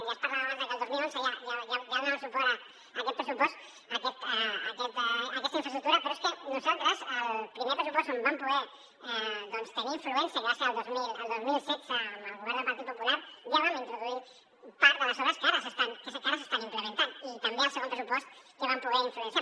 ja es parlava abans de que el dos mil onze ja donàvem suport a aquest pressupost a aquesta infraestructura però és que nosaltres el primer pressupost on vam poder doncs tenir influència que va ser el dos mil setze amb el govern del partit popular ja vam introduir part de les obres que ara s’estan implementant i també al segon pressupost que vam poder influenciar